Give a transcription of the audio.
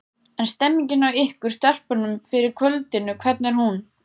En stemningin hjá ykkur stelpunum fyrir kvöldinu, hvernig er hún?